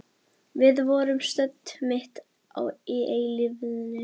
Við vorum stödd mitt í eilífðinni.